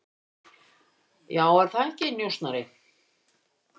Já, er það ekki, njósnari?